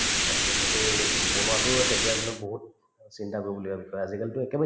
okay, সেইটো বনোৱাতোও তেতিয়াৰ দিনত বহুত চিন্তা কৰিবলগীয়া বিষয় আজিকালিতো একেবাৰে